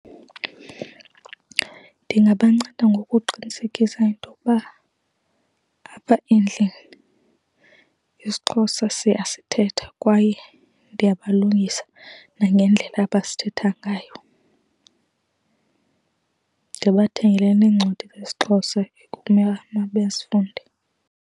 Ndingabanceda ngokuqinisekisa intokuba apha endlini isiXhosa siyasithetha kwaye ndiyabalungisa nangendlela abasithetha ngayo. Ndibathengele neencwadi zesiXhosa ekumela mabazifunde.